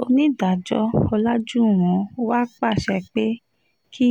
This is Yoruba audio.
onídàájọ́ ọ̀làjúwọ̀n wàá pàṣẹ pé kí